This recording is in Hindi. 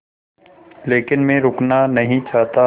लेकिन मैं रुकना नहीं चाहता